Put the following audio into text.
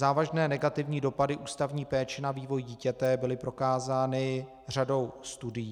Závažné negativní dopady ústavní péče na vývoj dítěte byly prokázány řadou studií.